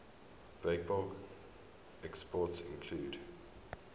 breakbulk exports include